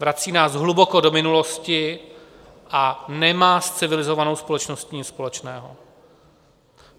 Vrací nás hluboko do minulosti a nemá s civilizovanou společností nic společného.